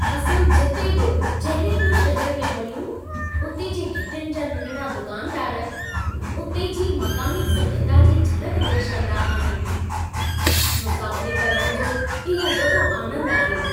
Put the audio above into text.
असां जिते बि जहिड़े बि शहर में वञूं, उते जी घिटियुनि जा नंढिड़ा दुकानदार उते जी मक़ामी सभ्यता जी झलक पेश कंदा आहिनि। मुसाफ़िरी करण जो इहो वॾो आनंद आहे।